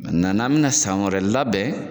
n'an bɛna san wɛrɛ labɛn.